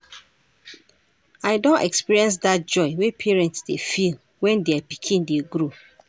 I don experience dat joy wey parents dey feel wen their pikin dey grow.